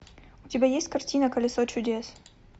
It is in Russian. у тебя есть картина колесо чудес